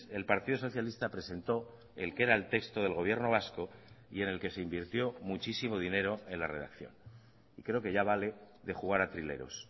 el partido socialista presentó el que era el texto del gobierno vasco y en el que se invirtió muchísimo dinero en la redacción creo que ya vale de jugar a trileros